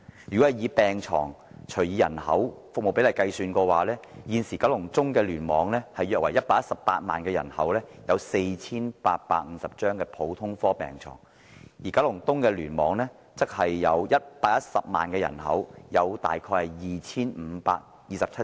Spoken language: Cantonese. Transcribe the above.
就地區人口對病床的比例來說，現時九龍中聯網約有118萬人口，普通科病床數量為 4,850 張；九龍東聯網則有110萬人口，普通科病床數量為 2,527 張。